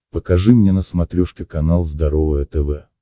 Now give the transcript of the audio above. покажи мне на смотрешке канал здоровое тв